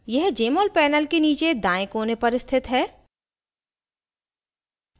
यह jmol panel के नीचे दायें कोने पर स्थित है